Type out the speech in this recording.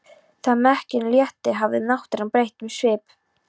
Þegar mekkinum létti hafði náttúran breytt um svip.